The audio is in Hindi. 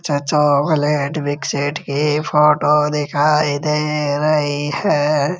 चाचों बलेड विकसेठ के फोटो दिखाई दे रही है।